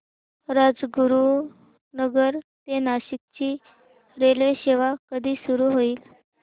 राजगुरूनगर ते नाशिक ची रेल्वेसेवा कधी सुरू होईल